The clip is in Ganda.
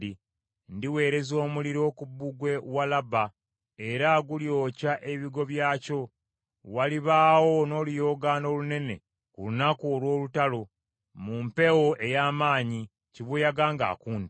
Ndiweereza omuliro ku bbugwe wa Labba, era gulyokya ebigo byakyo. Walibaawo n’oluyoogaano olunene ku lunaku olw’olutalo mu mpewo ey’amaanyi, kibuyaga ng’akunta.